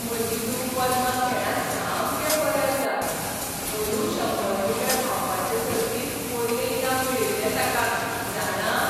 म्हजी धूव पद्मा खेळांत सामकें बरें आसा. पोरूं शंबर मीटर धांवपाचें सर्तींत पयलें इनाम मेळिल्लें ताका, जाणा.